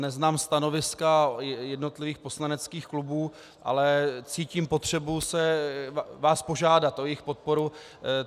Neznám stanoviska jednotlivých poslaneckých klubů, ale cítím potřebu vás požádat o jejich podporu.